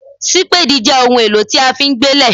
Sípáádì jẹ́ ohun èlò tí a fi ń gbé lẹ̀